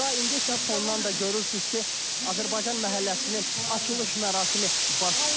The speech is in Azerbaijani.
İndi isə fondan da görürsüz ki, Azərbaycan məhəlləsinin açılış mərasimi baş tutur.